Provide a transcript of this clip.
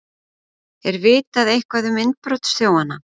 Er vitað eitthvað um innbrotsþjófana?